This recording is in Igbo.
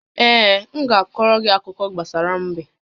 Ee, m ga-akọrọ gị akụkọ gbasara m̀bé